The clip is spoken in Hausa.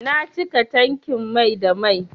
Na cika tankin mai da mai.